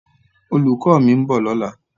Olùkọ́ mi ń bọ̀ lọ́la.